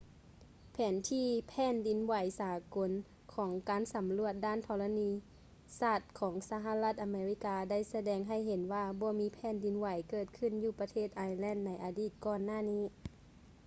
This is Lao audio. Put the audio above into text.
ແຜນທີ່ແຜ່ນດິນໄຫວສາກົນຂອງການສຳຫຼວດດ້ານທໍລະນີສາດຂອງສະຫະລັດອາເມລິກາໄດ້ສະແດງໃຫ້ເຫັນວ່າບໍ່ມີແຜ່ນດິນໄຫວເກີດຂຶ້ນຢູ່ປະເທດໄອແລນໃນອາທິດກ່ອນໜ້ານີ້